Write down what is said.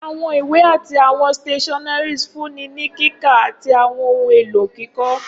Awọn iwe ati awọn stationeries nfunni ni kika ati awọn ohun elo kikọ.